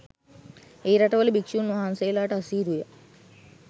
ඒ රටවල භික්ෂූන් වහන්සේලාට අසීරු ය.